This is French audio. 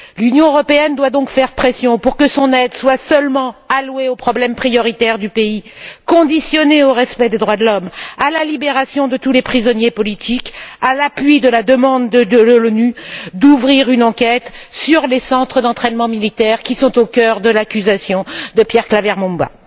L'Union européenne doit donc faire pression pour que son aide soit seulement allouée aux problèmes prioritaires du pays, conditionnée au respect des droits de l'homme, à la libération de tous les prisonniers politiques, à l'appui de la demande de l'ONU d'ouvrir une enquête sur les centres d'entraînement militaires, qui sont au cœur de l'accusation de Pierre Claver Mbonimpa.